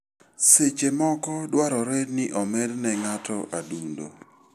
Seche moko, dwarore ni omed ne ngato adundo.